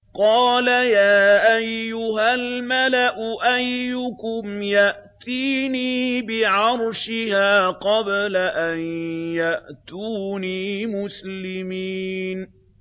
قَالَ يَا أَيُّهَا الْمَلَأُ أَيُّكُمْ يَأْتِينِي بِعَرْشِهَا قَبْلَ أَن يَأْتُونِي مُسْلِمِينَ